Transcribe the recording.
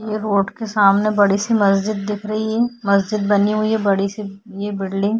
ये रोड के सामने बड़ी सी मस्जिद दिख रही है। मस्जिद बनी हुई है बड़ी सी। ये बिल्डिंग --